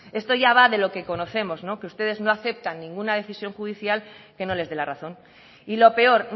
esto ya va de lo que conocemos que ustedes no aceptan ninguna decisión judicial que no les dé la razón y lo peor